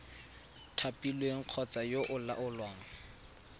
thapilweng kgotsa yo o laolang